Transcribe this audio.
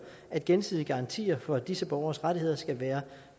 at gensidige garantier for disse borgeres rettigheder skal være